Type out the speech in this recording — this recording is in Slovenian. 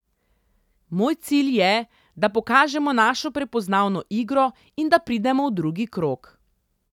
Moj cilj je, da pokažemo našo prepoznavno igro in da pridemo v drugi krog.